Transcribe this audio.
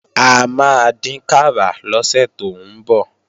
A máa dínkàrà lọ́sẹ̀ tó ń bọ̀